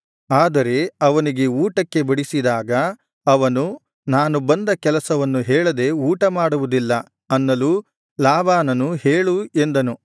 ಆದರೆ ಅವನಿಗೆ ಊಟಕ್ಕೆ ಬಡಿಸಿದಾಗ ಅವನು ನಾನು ಬಂದ ಕೆಲಸವನ್ನು ಹೇಳದೆ ಊಟ ಮಾಡುವುದಿಲ್ಲ ಅನ್ನಲು ಲಾಬಾನನು ಹೇಳು ಎಂದನು